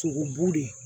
Sogobu de